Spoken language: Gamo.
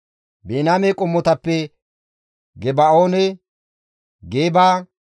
Biniyaame qommotappe Geba7oone, Geeba,